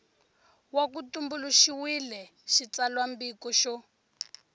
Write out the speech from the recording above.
va ku tumbuluxiwile xitsalwambiko xo